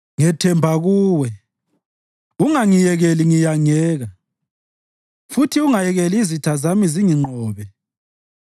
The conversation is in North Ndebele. Ngethemba kuwe, ungangiyekeli ngiyangeka, futhi ungayekeli izitha zami zinginqobe.